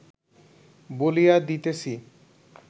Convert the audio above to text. বলিয়া দিতেছি